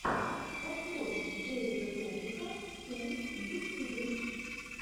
открой дэвида добрика ту в ютюбе